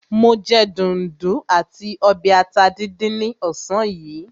Mo jẹ dùndún àti ọbẹ̀ ata díndín ní ọ̀sán yìí.